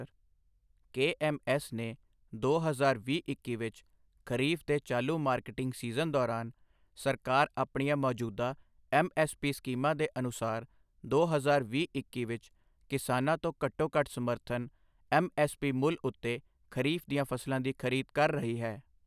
ਕੇ M S ਨੇ ਦੋ ਹਜ਼ਾਰ ਵੀਹ-ਇੱਕੀ ਵਿਚ ਖਰੀਫ਼ ਦੇ ਚਾਲੂ ਮਾਰਕੀਟਿੰਗ ਸੀਜ਼ਨ ਦੌਰਾਨ, ਸਰਕਾਰ ਆਪਣੀਆਂ ਮੌਜੂਦਾ ਐੱਮ ਐੱਸ ਪੀ ਸਕੀਮਾਂ ਦੇ ਅਨੁਸਾਰ ਦੋ ਹਜ਼ਾਰ ਵੀਹ -ਇੱਕੀ ਵਿਚ ਕਿਸਾਨਾਂ ਤੋਂ ਘੱਟੋ ਘੱਟ ਸਮਰਥਨ ਐੱਮ ਐੱਸ ਪੀ ਮੁੱਲ ਉੱਤੇ ਖਰੀਫ਼ ਦੀਆਂ ਫ਼ਸਲਾਂ ਦੀ ਖ਼ਰੀਦ ਕਰ ਰਹੀ ਹੈ।